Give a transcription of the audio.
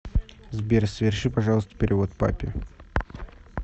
сбер соверши пожалуйста перевод папе